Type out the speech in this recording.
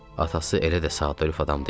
Atası elə də sadəlövh adam deyil.